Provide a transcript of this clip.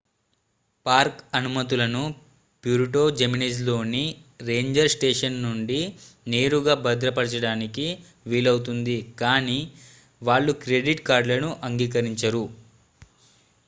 park అనుమతులను Puerto జిమెనెజ్లోని ranger station నుండి నేరుగా భద్రపరచడానికి వీలవుతుంది కాని వాళ్ళు క్రెడిట్ కార్డులను అంగీకరించరు